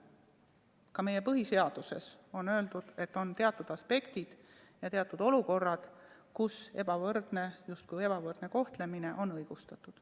Ka meie põhiseaduses on öeldud, et on teatud aspektid ja teatud olukorrad, kus justkui ebavõrdne kohtlemine on õigustatud.